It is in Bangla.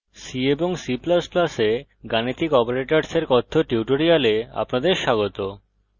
c এবং c ++ এ গাণিতিক অপারেটরসের কথ্য টিউটোরিয়ালে আপনাদের স্বাগত